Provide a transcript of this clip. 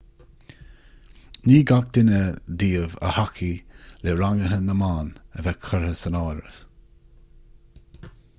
ní gach duine díobh a thacaigh le ranguithe na mban a bheith curtha san áireamh